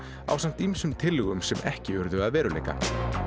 ásamt ýmsum tillögum sem ekki urðu að veruleika